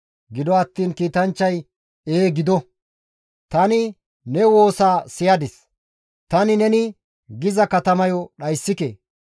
Gido attiin kiitanchchay, «Ee gido! Tani ne woosaa siyadis; tani neni giza katamayo dhayssike.